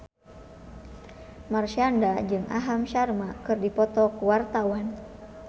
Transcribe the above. Marshanda jeung Aham Sharma keur dipoto ku wartawan